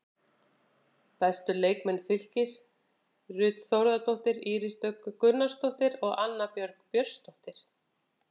Bestu leikmenn Fylkis: Ruth Þórðardóttir, Íris Dögg Gunnarsdóttir og Anna Björg Björnsdóttir.